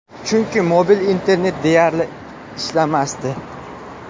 Chunki mobil internet deyarli ishlamasdi.